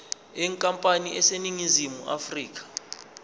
yenkampani eseningizimu afrika